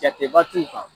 Jateba t'u kan